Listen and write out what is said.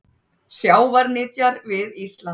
Sjávarnytjar við Ísland.